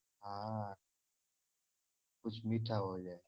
હા કુછ મીઠા હો જાય.